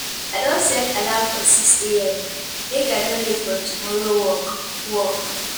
I don set alarm for 6am, make I no late for tomorrow work. work.